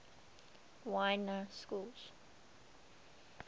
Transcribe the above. y na schools